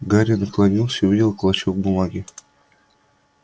гарри наклонился и увидел клочок бумаги